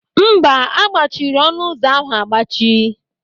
Mba, a gbachiri ọnụ ụzọ ahụ agbachi.